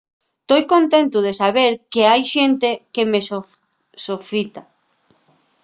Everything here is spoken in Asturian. toi contentu de saber qu’hai xente que me sofita